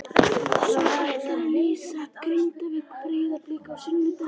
Svo ætlarðu að lýsa Grindavík- Breiðablik á sunnudaginn?